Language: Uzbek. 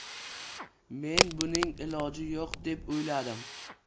Men buning iloji yo‘q deb o‘yladim.